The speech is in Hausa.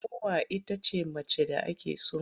Mowa ita ce macen da ake so.